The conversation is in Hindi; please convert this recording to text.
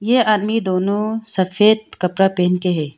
यह आदमी दोनो सफेद कपड़ा पेहेन के है।